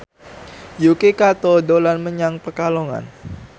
Yuki Kato dolan menyang Pekalongan